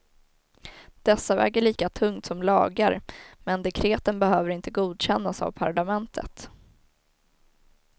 Dessa väger lika tungt som lagar men dekreten behöver inte godkännas av parlamentet.